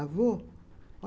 Avô?